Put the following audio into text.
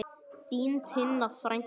Þín Tinna frænka.